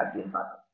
அதையும் பாக்கணும்.